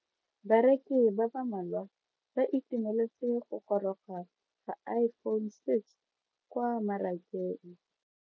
Bareki ba ba malwa ba ituemeletse go goroga ga Iphone6 kwa mmarakeng.